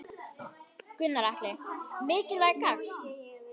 Gunnar Atli: Mikilvæg gangan?